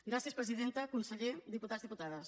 gràcies presidenta conseller diputats i diputades